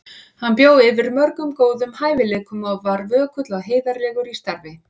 Hann bjó yfir mörgum góðum hæfileikum og var vökull og heiðarlegur í starfi.